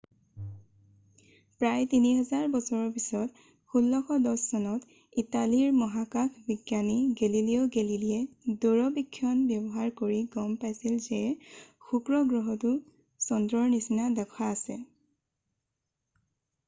প্ৰায় 3 হাজাৰ বছৰৰ পিছত 1610 চনত ইটালীৰ মহাকাশ বিজ্ঞানী গেলিলিও গেলেলিয়ে দূৰবীক্ষণ ব্যৱহাৰ কৰি গম পাইছিল যে শুক্ৰ গ্ৰহৰো চন্দ্ৰৰ নিচিনা দশা আছে